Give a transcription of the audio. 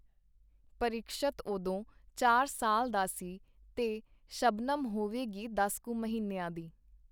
ਪਰੀਖਸ਼ਤ ਓਦੋਂ ਚਾਰ ਸਾਲ ਦਾ ਸੀ, ਤੇ ਸ਼ਬਨਮ ਹੋਵੇਗੀ ਦਸ ਕੁ ਮਹੀਨਿਆਂ ਦੀ.